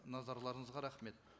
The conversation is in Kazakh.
назарларыңызға рахмет